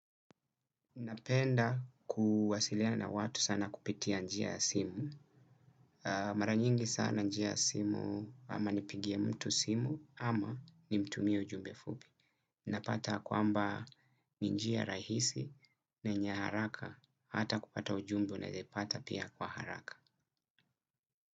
Napenda kuwasiliana na watu sana kupitia njia ya simu. Mara nyingi sana njia ya simu ama nipigie mtu simu ama nimtumie ujumbe fupi. Napata kwamba ni njia rahisi na yenye haraka hata kupata ujumbe unaeza pata pia kwa haraka.